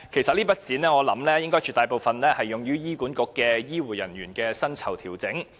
我估計這筆款項絕大部分用於醫院管理局的醫護人員薪酬調整。